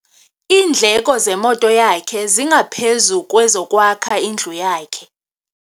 Iindleko zemoto yakhe zingaphezu kwezokwakha indlu yakhe.